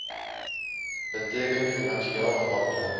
beteken finansieel afhanklik